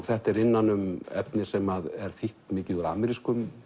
þetta er innan um efni sem er þýtt mikið úr amerískum